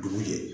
Dugu jɛ